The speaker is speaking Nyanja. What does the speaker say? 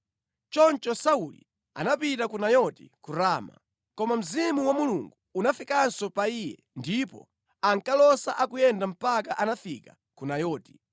Choncho Sauli anapita ku Nayoti ku Rama. Koma Mzimu wa Mulungu unafikanso pa iye ndipo ankalosa akuyenda mpaka anafika ku Nayoti.